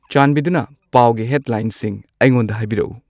ꯆꯥꯟꯕꯤꯗꯨꯅ ꯄꯥꯎꯒꯤ ꯍꯦꯗꯂꯥꯏꯟꯁꯤꯡ ꯑꯩꯉꯣꯟꯗ ꯍꯥꯏꯕꯤꯔꯛꯎ